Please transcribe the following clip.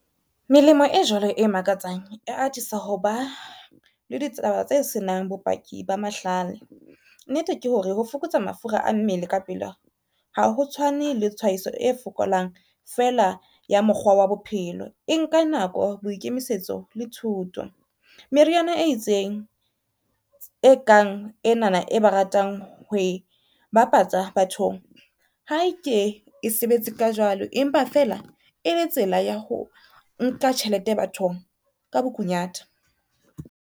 Melemo e jwalo e makatsang e atisa ho ba le ditaba tse senang bopaki ba mahlale. Nnete ke hore ho fokotsa mafura a mmele ka pela, ha ho tshwane le tshwaetso e fokolang fela ya mokgwa ya bophelo e nka nako boikemisetso le thuto. Meriana e itseng e kang ena na e ba ratang ho e bapatsa bathong, ha eke e sebetse ka jwalo empa fela e le tsela ya ho nka tjhelete bathong ka bokunyata.